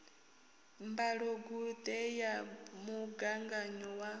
mbalogu ṱe ya mugaganyo wa